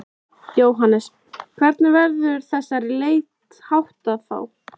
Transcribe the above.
Jóhannes: Hvernig verður þessari leit háttað þá?